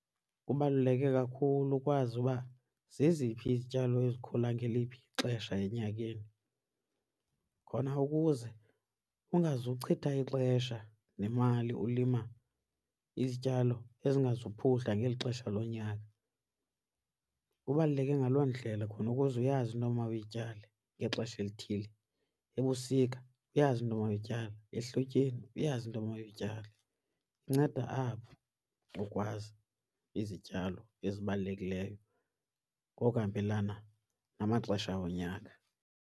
Kubaluleke kakhulu ukwazi uba zeziphi izityalo ezikhula ngeliphi ixesha enyakeni khona ukuze ungazuchitha ixesha nemali ulima izityalo ezingazuphuhla ngeli xesha lonyaka. Kubaluleke ngaloo ndlela khona ukuze uyazi into omawuyityale ngexesha elithile, ebusika uyazi into omawuyityale, ehlotyeni uyazi into omawuyityale. Inceda apho ukwazi izityalo ezibalulekileyo ngokuhambelana namaxesha wonyaka.